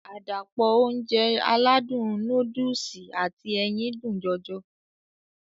Àdàpọ̀ Ounjẹ aládùn nóódùsì àti ẹyin dùn jọjọ